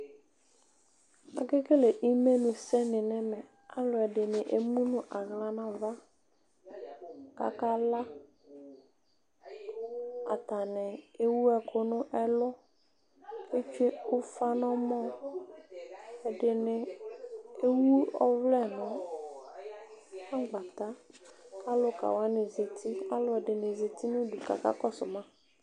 Akekele imenʋsɛ ni nʋ ɛmɛ alʋɛdini emʋ nʋ aɣla nʋ ava kʋ akala atani ewʋ ɛkʋ nʋ ɛlʋ etse ufa nʋ ɛmɔ ɛdini ewʋ ɔvlɛ nʋ agbata kʋ alʋka wani zati alʋdini zati nʋ ʋdʋ kʋ aka kɔsʋma